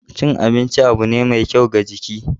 Cin abinci abu ne mai kyau ga jiki.